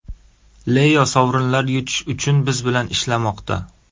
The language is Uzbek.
Leo sovrinlar yutish uchun biz bilan ishlamoqda.